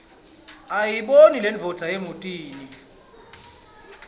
ayibone lendvodza emotini